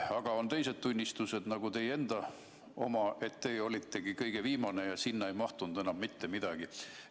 Aga teised tunnistused, nagu ka teie enda oma, ütlevad, et teie olitegi kõige viimane ja sinna ei mahtunud enam mitte midagi.